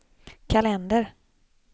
kalender